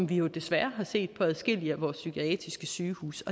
vi jo desværre har set på adskillige af vores psykiatriske sygehuse